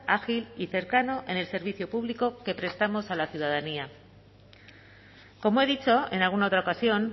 ágil y cercano en el servicio público que prestamos a la ciudadanía como he dicho en alguna otra ocasión